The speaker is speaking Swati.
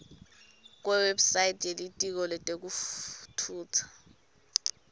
kuwebsite yelitiko letekutfutsa